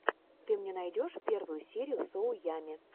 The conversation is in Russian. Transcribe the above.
ты мне найдешь первую серию соу ямми